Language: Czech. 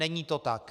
Není to tak.